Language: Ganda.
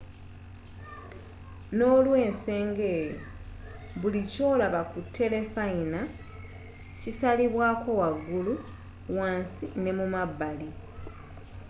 n'olwensoga eyo buli kyolaba ku telefayina kisalibwako wagulu wansi n'emumabbali